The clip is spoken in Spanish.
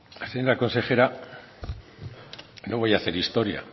señora consejera no voy a hacer historia